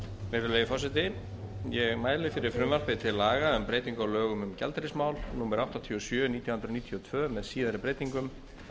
virðulegi forseti ég mæli fyrir frumvarpi til laga um breytingu á lögum um gjaldeyrismál númer áttatíu og sjö nítján hundruð níutíu og tvö með síðari breytingum